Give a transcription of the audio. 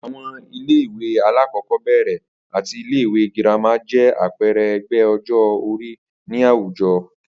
Àwo̩n ilé ìwé alákò̩ó̩bè̩rè̩ àti ilé ìwé girama jé̩ àpe̩e̩re̩ e̩gbé̩ o̩jó̩-orí ní àwùjo̩